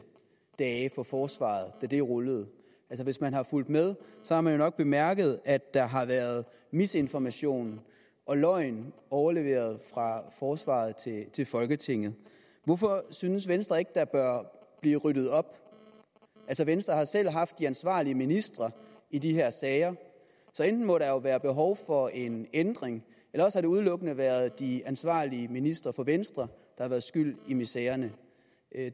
dage for forsvaret da det rullede hvis man har fulgt med har man nok bemærket at der har været misinformation og løgn overleveret fra forsvaret til folketinget hvorfor synes venstre ikke der bør blive ryddet op altså venstre har selv haft de ansvarlige ministre i de her sager så enten må der jo være behov for en ændring eller også har det udelukkende været de ansvarlige ministre fra venstre har været skyld i misererne